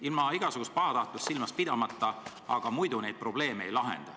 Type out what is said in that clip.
Ilma igasugust pahatahtlust silmas pidamata, aga muidu neid probleeme ei lahenda.